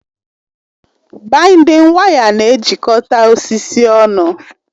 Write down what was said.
Baịndịn waya na-ejikọta osisi ọnụ